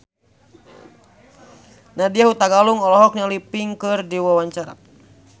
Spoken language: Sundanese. Nadya Hutagalung olohok ningali Pink keur diwawancara